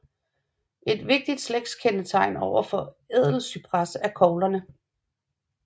Et vigtigt slægtskendetegn overfor Ædelcypres er koglerne